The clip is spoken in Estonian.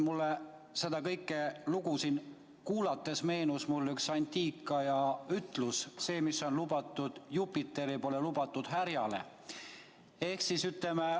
Mulle seda lugu siin kuulates meenus üks antiikaja ütlus: see, mis on lubatud Jupiterile, pole lubatud härjale.